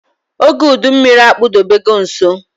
ógè udu mmịrị akpudobe go nso